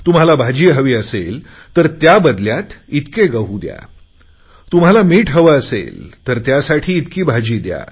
तुम्हाला भाजी हवी असेल तर त्याबदल्यात इतके गहू दया तुम्हाला मीठ हवे असेल तर त्यासाठी इतकी भाजी द्या